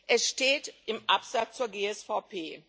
Es steht im Absatz zur GSVP.